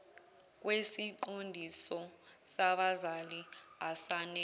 kwesiqondiso sabazali asanele